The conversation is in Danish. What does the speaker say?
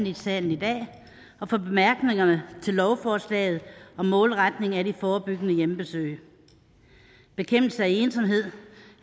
i salen i dag og for bemærkningerne til lovforslaget om målretning af de forebyggende hjemmebesøg bekæmpelse af ensomhed